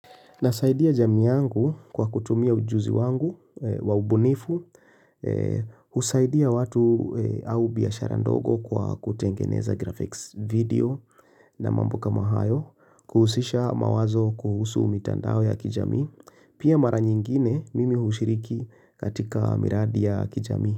Nasaidia jamii yangu kwa kutumia ujuzi wangu waubunifu, usaidia watu au biashara ndogo kwa kutengeneza graphics video na mambo kama hayo, kuhusisha mawazo kuhusu umitandao ya kijami, pia mara nyingine mimi hushiriki katika miradi ya kijamii.